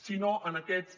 si no en aquests